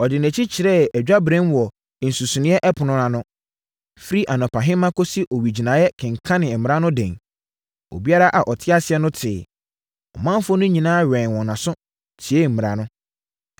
Ɔde nʼani kyerɛɛ adwaberem wɔ nsuseneeɛ ɛpono no ano, firi anɔpahema kɔsii owigyinaeɛ kenkanee mmara no den, maa obiara a ɔte aseɛ no teeɛ. Ɔmanfoɔ no nyinaa wɛnee wɔn aso, tiee mmara no.